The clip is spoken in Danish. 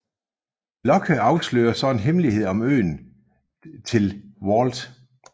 Locke afslører så en hemmelighed om øen til Walt